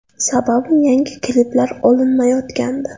Sababi yangi kliplar olinmayotgandi.